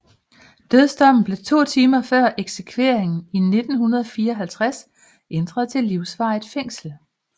Dødsdommen blev to timer før eksekveringen i 1954 ændret til livsvarigt fængsel